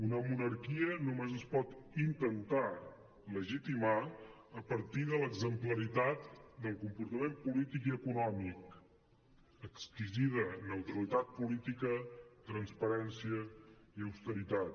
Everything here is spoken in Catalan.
una monarquia només es pot intentar legitimar a partir de l’exemplaritat del comportament polític i econòmic exquisida neutralitat política transparència i austeritat